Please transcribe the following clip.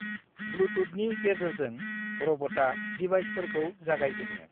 ब्लुतुथनि गेजेरजों रबता देवाइसफोरखौ जागायजेनो।